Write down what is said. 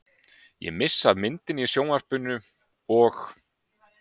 Ég missi af myndinni í sjónvarpinu og.